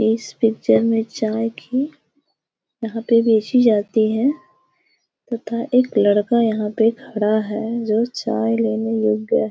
इस पिक्चर में चाय की यहां पर भेजी जाती है तथा एक लड़का यहां पर खड़ा है जो चाय लेने रुक गया है।